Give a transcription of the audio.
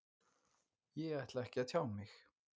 Ég ætla ekki að tjá mig